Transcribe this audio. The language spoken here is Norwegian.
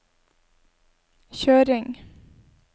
kjøring